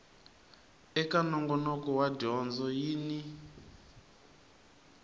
eka nongonoko wa dyondzo yin